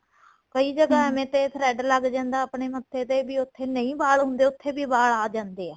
ਕਈ ਜਗ੍ਹਾ ਐਵੇ ਤੇ thread ਲੱਗ ਜਾਂਦਾ ਆਪਣੇਂ ਮੱਥੇ ਤੇ ਵੀ ਉਥੇ ਨਹੀਂ ਵਾਲ ਹੁੰਦੇ ਵੀ ਉਥੇ ਵੀ ਵਾਲ ਆ ਜਾਂਦੇ ਏ